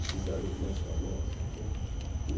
Esses eram os mais famosos né. E.